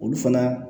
Olu fana